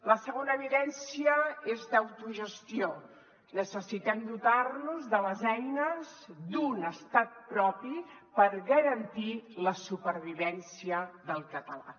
la segona evidència és d’autogestió necessitem dotar nos de les eines d’un estat propi per garantir la supervivència del català